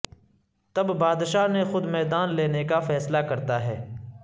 تب بادشاہ نے خود میدان لینے کا فیصلہ کرتا ہے